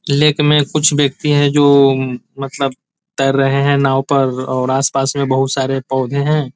Lake मे कुछ व्यक्ति है जो मतलब तैर रहे है नाव पर और आसपास में बहुत सारे पौधे है।